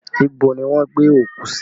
Ibo ni wọ́n gbé òkú sí?